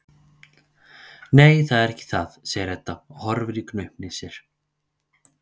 Nei, það er ekki það, segir Edda og horfir í gaupnir sér.